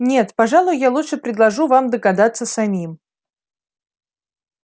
нет пожалуй я лучше предложу вам догадаться самим